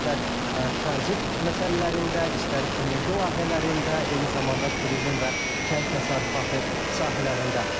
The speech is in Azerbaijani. İstər tranzit məsələlərində, istər enerji layihələrində, eyni zamanda turizm və kənd təsərrüfatı sahələrində.